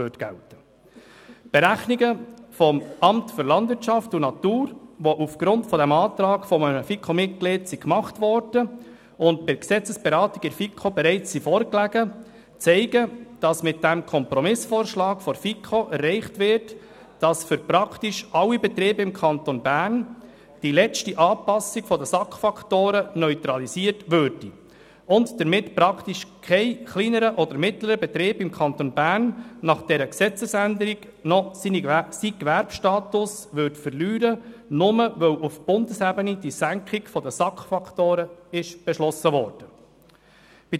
Die Berechnungen des Amts für Landwirtschaft und Natur (LANAT), die aufgrund eines Antrags eines FiKo-Mitglied gemacht wurden und bei der Gesetzesberatung der FiKo bereits vorlagen, zeigen, dass mit diesem Kompromissvorschlag der FiKo erreicht wird, dass für praktisch alle Betriebe im Kanton Bern die letzte Anpassung der SAK-Faktoren neutralisiert und damit praktisch kein kleinerer oder mittlerer Betrieb im Kanton Bern nach dieser Gesetzesänderung noch sein Gewerbestatus verlieren würde, nur weil die Senkung der SAK-Faktoren auf Bundesebene beschlossen worden ist.